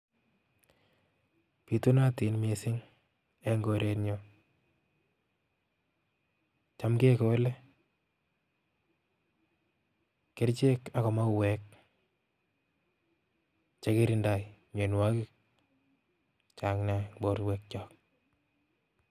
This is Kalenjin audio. Bitunotin mising eng koretnyu. Cham kekole kerchek ako mauwek chekirindoi mianwokik chechang nea eng borwekyok.